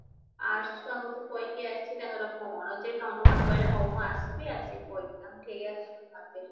arts ଛୁଆଙ୍କୁ ତ କହିକି ଆସିଚି ତାଙ୍କର କଣ ଯେ ମତେ କହିଲେ ହଉ ମୁଁ ଆସିବି ଆସିକି କହିକିନା କେହି ଆସୁନହନ୍ତି